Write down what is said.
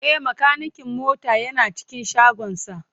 E, makanikin mota yana cikin shagonsa.